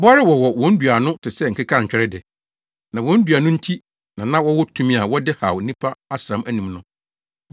Bɔre wɔwɔ wɔn dua ano te sɛ akekantwɛre de. Na wɔn dua no nti na na wɔwɔ tumi a wɔde haw nnipa asram anum no.